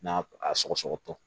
N'a a sɔgɔ sɔgɔ